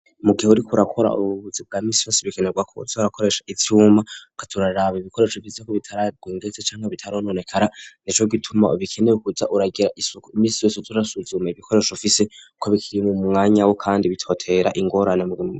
Mugihe uriko urakora ububuzi bwa misi basi bikenerwa ko sorakoresha itsyuma katurarraba ibikoresho vise ko bitarague ndetse cangwa bitarihononekara nico gituma ubikeneye kujya uragira isuku iminsi yese turasuzuma ibikoresho fise ko bikiriye mumwanya wo kandi bitotera ingorane murima.